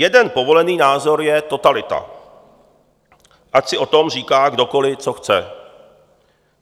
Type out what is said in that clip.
Jeden povolený názor je totalita, ať si o tom říká kdokoliv, co chce.